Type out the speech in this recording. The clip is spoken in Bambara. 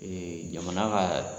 Ee jamana ka